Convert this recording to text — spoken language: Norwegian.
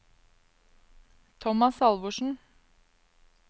Tomas Halvorsen